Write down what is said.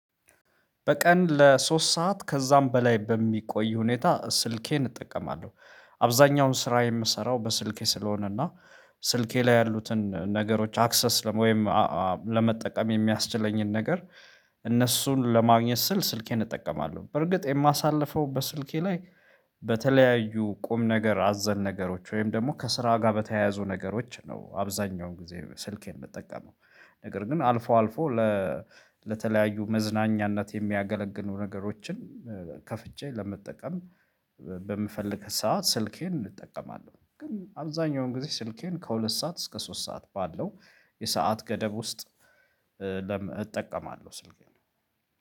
በቀን ለሶስት ሰዓት ከዛም በላይ በሚቆይ ሁኔታ ስልኬን እጠቀማለሁ። አብዛኛውን ስራ የምሰራው በስልኬ ስለሆነ እና ስልኬ ላይ ያሉትን ነገሮች አክሰስ ወይም ለመጠቀም የሚያስችለኝን ነገር። እነሱን ለማግኘት ስል ስልኬን እጠቀማለሁ በርግጥ የማሳልፈው በስልኬ ላይ በተለያዩ ቁም ነገር አዘል ነገሮች ወይም ደግሞ ከስራ ጋር በተያያዙ ነገሮች ነው። አብዛኛውን ጊዜ ስልኬን የምጠቀመው ነገር ግን አልፎ አልፎ ለተለያዩ መዝናኛነት የሚያገለግሉ ነገሮችን ከፍቼ ለመጠቀም። በምፈልግ ሰዓት ስልኬን እጠቀማለሁ ግን አብዛኛውን ጊዜ ስልኬን ከሁለት ሰዓት እስከ ሶስት ሰዓት ባለው የሰዓት ገደብ ውስጥ። እጠቀማለሁ ስልኬ ነው።